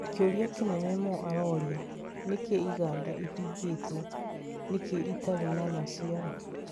Kĩuria kĩnene Mo aroria: Nĩkĩ igaanda ihingĩtwo, nĩkĩ itarĩ na maciaro